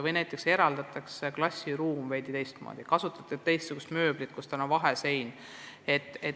Või siis kujundatakse klassiruum veidi teistmoodi, kasutatakse teistsugust mööblit, vaheseinu.